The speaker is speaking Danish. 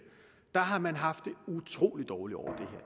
har man haft det utrolig dårligt over